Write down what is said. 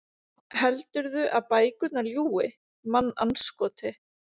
Heldurðu að bækurnar ljúgi, mannandskoti?